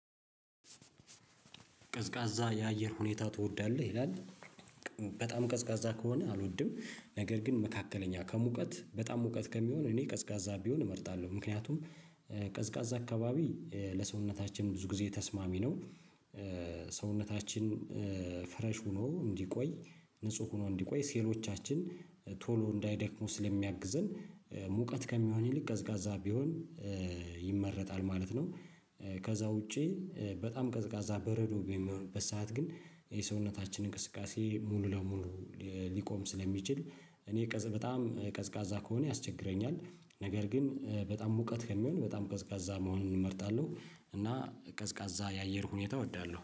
ቀዝቃዛ የአየር ሁኔታ ትወዳለህ ይላል? በጣም ቀዝቃዛ ከሆነ አልወድም ነገር ግን መካከለኛ ከሙቀት በጣም ሙቀት ከሚሆን እኔ ቀዝቃዛ ቢሆን እመርጣለሁ ምክንያቱም ቀዝቃዛ አካባቢ ለሰውነታችን ብዙ ጊዜ ተስማሚ ነው። ሰውነታችን ፍረሽ ሆኖ እንዲቆይ ንጹህ ሆኖ እንዲቆይ ሴሎቻችን ቶሎ እንዳይደክሙ ስለሚያግዘን ሙቀት ከሚሆን ይልቅ ቀዝቃዛ ቢሆን ይመረጣል ማለት ነው። ከዛ ውጪ በጣም ቀዝቃዛ በረዶ በሚሆንበት ሰዓት ግን የሰውነታችን እንቅስቃሴ ሙሉ ለሙሉ ሊቆም ስለሚችል እኔ ቀዝ በጣም ቀዝቃዛ ከሆነ ያስቸግረኛል። ነገር ግን በጣም ሙቀት ከሚሆን በጣም ቀዝቃዛ መሆንን እመርጣለሁ እና ቀዝቃዛ የአየር ሁኔታ እወዳለሁ